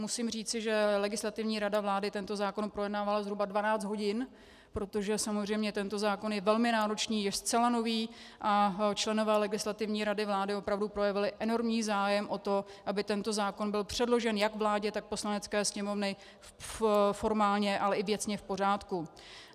Musím říci, že Legislativní rada vlády tento zákon projednávala zhruba 12 hodin, protože samozřejmě tento zákon je velmi náročný, je zcela nový a členové Legislativní rady vlády opravdu projevili enormní zájem o to, aby tento zákon byl předložen jak vládě, tak Poslanecké sněmovně formálně, ale i věcně v pořádku.